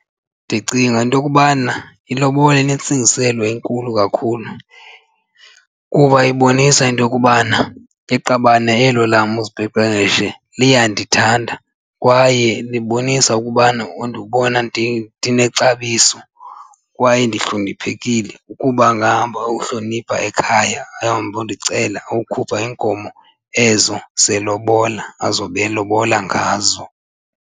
Ndicinga into yokubana ilobola inentsingiselo inkulu kakhulu kuba ibonisa into yokubana iqabane elo lam uzipepereshe liyandithanda kwaye libonisa ukubana undibona ndinexabiso kwaye ndihloniphekile ukuba angahamba ayohlonipha ekhaya, ahambe ayondicela ayokhupha iinkomo ezo zelobola azobe elobola ngazo.